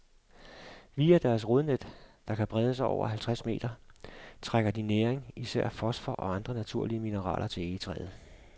Via deres rodnet, der kan brede sig over halvtreds meter, trækker de næring, især fosfor og andre naturlige mineraler, til egetræet.